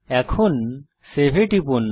এখন সেভ এ টিপুন